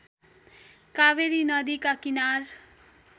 कावेरी नदीका किनार